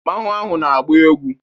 Mmanwu ahụ na-agba egwu.